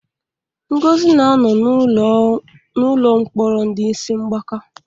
Ngozi na-anọ n'ụlọ mkpọrọ ndị isi mgbaka.